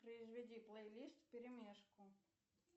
произведи плейлист вперемешку